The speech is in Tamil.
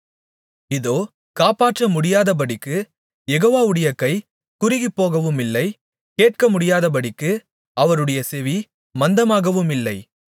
இதோ காப்பாற்றமுடியாதபடிக்குக் யெகோவாவுடைய கை குறுகிப்போகவுமில்லை கேட்கமுடியாதபடிக்கு அவருடைய செவி மந்தமாகவுமில்லை